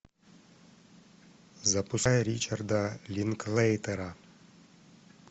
запускай ричарда линклейтера